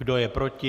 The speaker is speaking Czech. Kdo je proti?